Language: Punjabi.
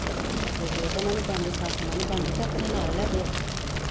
ਜੇ ਓਦੇ ਨਾਲ ਨੀ ਬਣਦੀ ਸੱਸ ਨਾਲ ਨੀ ਬਣਦੀ ਤੇ ਆਪਣੇ ਨਾਲ ਲੈਜੇ ਓਥੇ